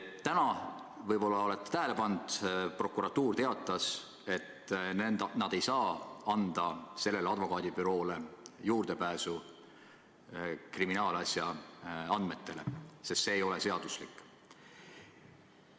Täna, võib-olla olete tähele pannud, teatas prokuratuur, et nad ei saa sellele advokaadibüroole anda juurdepääsu kriminaalasja andmetele, sest see ei ole seaduslik.